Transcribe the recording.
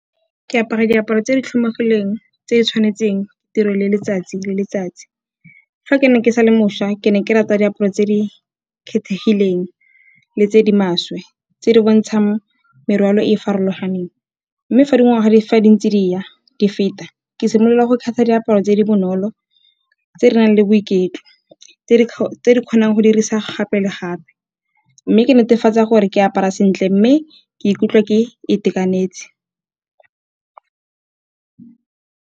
Ke apara diaparo tse di tlhomegileng tse di tshwanetseng tiro le letsatsi le letsatsi. Fa ke ne ke sa le mošwa ke ne ke rata diaparo tse di kgethegileng le tse di maswe tse di bontshang merwalo e e farologaneng, mme fa dingwaga fa di ntse di ya di feta ke simolola go kgetha diaparo tse di bonolo, tse di nang le boiketlo, tse di kgonang go dirisa gape le gape. Mme ke netefatsa gore ke apara sentle mme ke ikutlwa ke itekanetse.